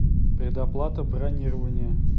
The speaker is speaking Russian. предоплата бронирования